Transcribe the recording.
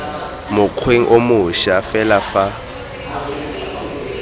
mokgweng o moša fela fa